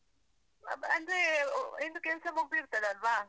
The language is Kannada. ಅಬ್. ಅಂದ್ರೆ. ನಿಂದ್ ಕೆಲ್ಸ ಮುಗ್ದಿರ್ತದಲ್ವಾ?